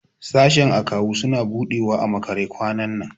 Sashen Akawu suna buɗewa a makare kwanan nan.